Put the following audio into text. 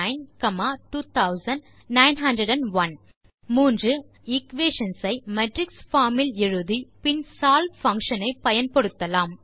நாம் முதலில் எக்வேஷன்ஸ் ஐ மேட்ரிக்ஸ் பார்ம் இல் எழுதி பின் solve பங்ஷன் ஐ பயன்படுத்தலாம்